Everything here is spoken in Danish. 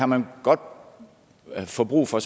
man godt få brug for